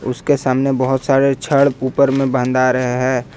उसके सामने बहुत सारे छड़ ऊपर में बंधा रहा है।